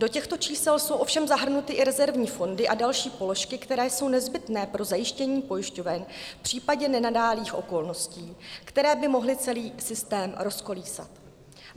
Do těchto čísel jsou ovšem zahrnuty i rezervní fondy a další položky, které jsou nezbytné pro zajištění pojišťoven v případě nenadálých okolností, které by mohly celý systém rozkolísat.